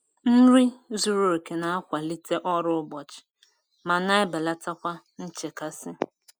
Nri zuru oke na-akwalite ọrụ ụbọchị ma na-ebelata kwa nchekasị.